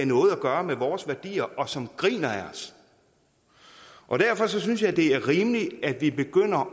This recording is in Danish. noget at gøre med vores værdier og som griner af os og derfor synes jeg det er rimeligt at vi begynder